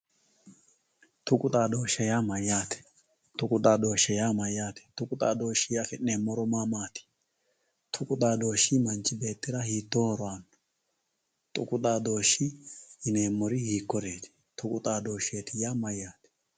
tuqu xaadooshe yaa mayaate tuqu xaadooshe yaa mayaate tuku xadooshiwii afi'neemori maamaati tuqu xadooshshi manchi beettira mayi horo aanno tuqu xadooshshe yineemori hiikuriiti tuqu xaadooshsheeti yaa mayaate